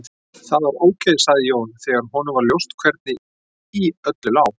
Það var ok, sagði Jón, þegar honum var ljóst hvernig í öllu lá.